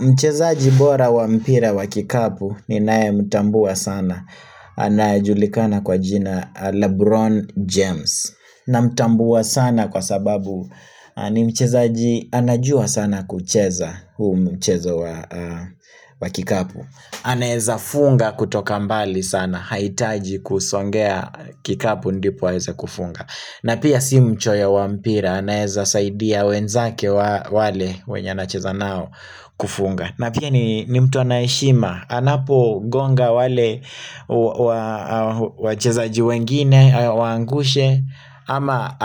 Mchezaji bora wa mpira wa kikapu ni nae mtambua sana anajulikana kwa jina Lebron James na mtambua sana kwa sababu ni mchezaji anajua sana kucheza huu mchezo wa wa kikapu aneza funga kutoka mbali sana, haitaji kusongea kikapu ndipo aeze kufunga na pia si mchoyo wampira anaeza saidia wenzake wale wenye anacheza nao kufunga na pia ni mtu anayeshima anapo gonga wale wa wacheza jiwengine, awaangushe ama